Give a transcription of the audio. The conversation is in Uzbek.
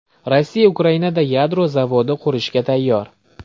Rossiya Ukrainada yadro zavodi qurishga tayyor.